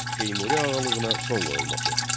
Teymuri ağalığına son qoyulması.